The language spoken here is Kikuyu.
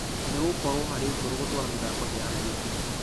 Nĩgũgakorwo harĩ goro gũtwara mĩthako nja ya nyairobi.